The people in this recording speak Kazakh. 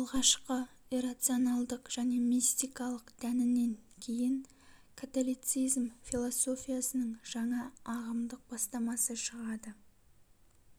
алғашқы иррационалдык және мистикалык дәнінен кейін католицизм философиясының жаңа ағымдык бастамасы шығады